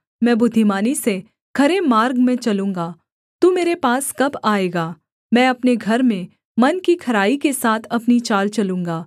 मैं बुद्धिमानी से खरे मार्ग में चलूँगा तू मेरे पास कब आएगा मैं अपने घर में मन की खराई के साथ अपनी चाल चलूँगा